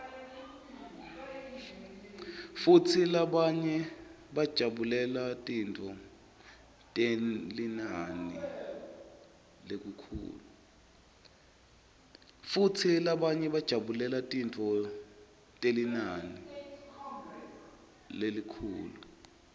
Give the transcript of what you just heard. futsi labanye bajabulela tintfo telinani lelikhulu